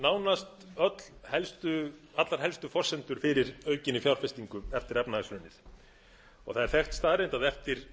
nánast allar helstu forsendur fyrir aukinni fjárfestingu fyrir efnahagshrunið það er þekkt staðreynd að eftir